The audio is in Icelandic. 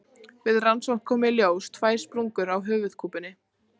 Við rannsókn komu í ljós tvær sprungur á höfuðkúpunni.